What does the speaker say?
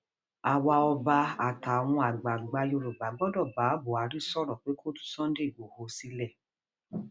àwa ọba àtàwọn àgbààgbà yorùbá gbọdọ bá buhari sọrọ pé kó tú sunday igboro sílẹ